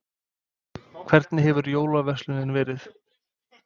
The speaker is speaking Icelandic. Hvernig hefur jólaverslunin verið?